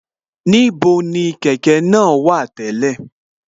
Níbo ni kẹ̀kẹ́ náà wà tẹ́lẹ̀